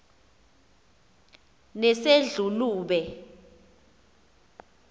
nesedlulube